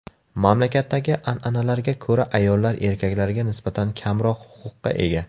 Mamlakatdagi an’analarga ko‘ra, ayollar erkaklarga nisbatan kamroq huquqqa ega.